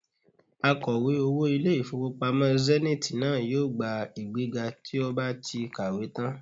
Akọ̀wé owó ilé-ìfowópamọ́ Zenith náà yóò gba ìgbéga tí ó bá ti kàwé tán